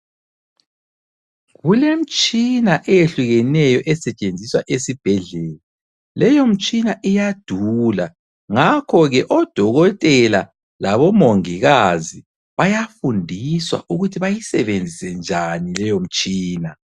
Kulemitshina eyehlukeneyo esetshenziswa esibhedlela. Leyomtshina iyadula, ngakho ke odokotela labomongikazi bayafundiswa ukuthi bayisebenzise njani leyomtshina.